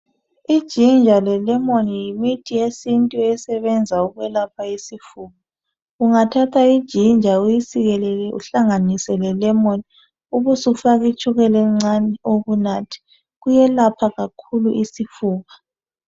Ijinja lelemoni yimithi yesintu esebenza ukwelapha isifo ungathatha ijinja uyiesikelele uhlanganise lelemoni ubusufaka itshukela encane uyinathe kuyelapha kakhulu isifuba.